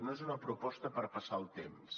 no és una proposta per passar el temps